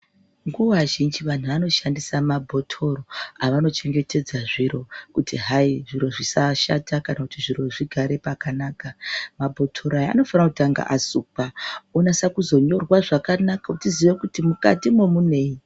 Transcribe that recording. Nguva zhinji vanhu vanoshandise mabhotoro avanochegetedza zviro kuti zvichengetedzeke zvakanaka zvisashata anofanira kutanga asukwa ozonyorwa kuti mukati munei.